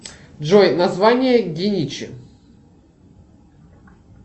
джой название геничи